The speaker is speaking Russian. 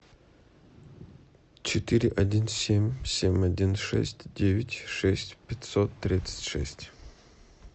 четыре один семь семь один шесть девять шесть пятьсот тридцать шесть